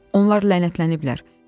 Onlar lənətləniblər.